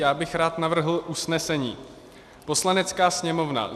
Já bych rád navrhl usnesení: "Poslanecká sněmovna